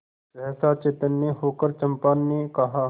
सहसा चैतन्य होकर चंपा ने कहा